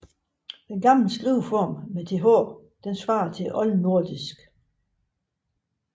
Den ældre skriveform med th svarer til oldnordisk ð